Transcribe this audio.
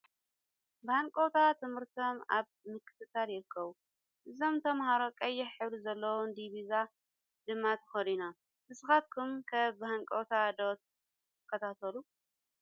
ብሃንቀውታ ትምህርቶም ኣብ ምክትታል ይርከቡ ። ዝም ተማሃሮ ቀይሕ ሕብሪ ዘለዋ ዲቢዛ ድማ ተከዲኖም ። ንስካትኩም ከ ብሃንቀውታ ዶ ትከታተሉ ?